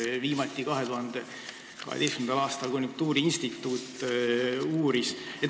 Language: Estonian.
Viimati uuris seda 2012. aastal konjunktuuriinstituut.